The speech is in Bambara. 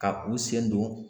Ka u sen don